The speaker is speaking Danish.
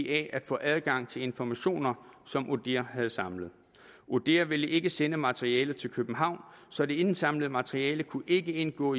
at få adgang til informationer som odihr havde samlet odihr ville ikke sende materialet til københavn så det indsamlede materiale kunne ikke indgå